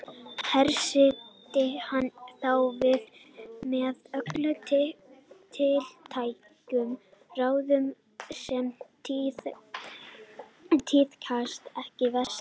Hressti hann þá við með öllum tiltækum ráðum sem tíðkast þar vestra.